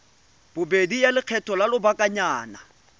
bobedi ya lekgetho la lobakanyana